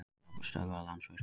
Aflstöðvar- Landsvirkjun.